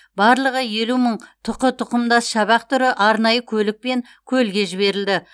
барлығы елу мың тұқы тұқымдас шабақ түрі арнайы көлікпен көлге жіберілді